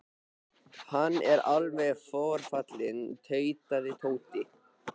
Hann er alveg forfallinn tautaði Tóti.